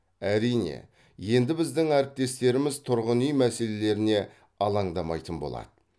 әрине енді біздің әріптестеріміз тұрғын үй мәселелеріне алаңдамайтын болады